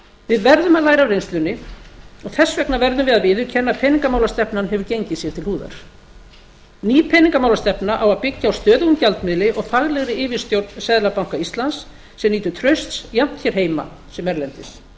við verðum að læra af reynslunni og þess vegna verðum við að viðurkenna að peningamálastefnan hefur gengið sé til húðar ný peningamálastefna á að byggja á stöðugum gjaldmiðli og faglegri yfirstjórn seðlabanka íslands sem nýtur trausts jafnt hér heima sem erlendis